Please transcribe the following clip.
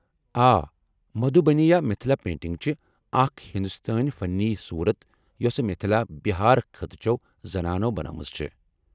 آ، مدھوٗبنی یا مِتِھلا پینٹنگ چھِ اکھ ہندوستٲنۍ فنی صورت یوسہٕ مِتھِلا، بِہار خطہٕ چو زنانو٘ بنٲومٕژ چھے٘۔